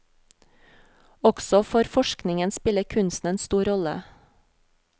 Også for forskningen spiller kunsten en stor rolle.